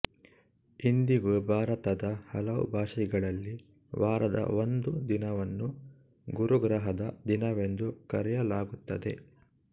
ಇಂದಿಗೂ ಭಾರತದ ಹಲವು ಭಾಷೆಗಳಲ್ಲಿ ವಾರದ ಒಂದು ದಿನವನ್ನು ಗುರುಗ್ರಹದ ದಿನವೆಂದು ಕರೆಯಲಾಗುತ್ತದೆ